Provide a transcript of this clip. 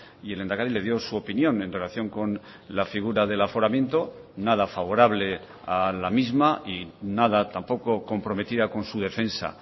y el lehendakari le dio su opinión en relación con la figura del aforamiento nada favorable a la misma y nada tampoco comprometida con su defensa